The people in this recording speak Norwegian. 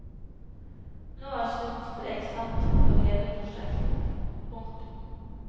Nå er sluttstrek satt for hele prosjektet. punktum